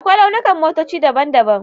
Akwai launukan motoci daban-daban.